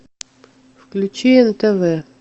включи нтв